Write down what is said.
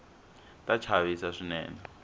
ta chavisa swinene